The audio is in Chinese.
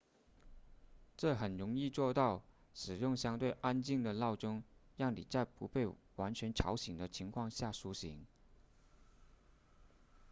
这很容易做到使用相对安静的闹钟让你在不被完全吵醒的情况下苏醒